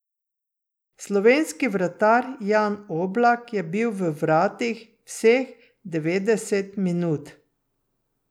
Slovenski vratar Jan Oblak je bil v vratih vseh devetdeset minut.